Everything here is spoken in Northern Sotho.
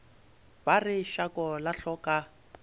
ba re šako la hloka